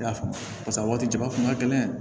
I y'a faamu paseke a waati jaba kun ka gɛlɛn